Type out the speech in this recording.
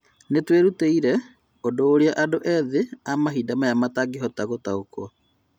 Nĩtwerutĩire, ũndũ ũrĩa andũ ethĩ a mahinda Maya matangĩhota gũtaũkwo